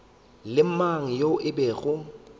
le mang yo e bego